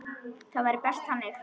Það væri best þannig.